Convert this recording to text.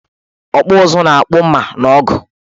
Ọkpụụzụ na-akpụ mma na ọgụ